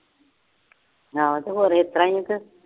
ਹਾਂ ਤੇ ਹੋਰ ਇਸ ਤਰ੍ਹਾਂ ਹੀ ਆ ਫਿਰ।